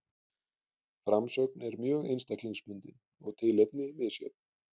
Framsögn er mjög einstaklingsbundin og tilefni misjöfn.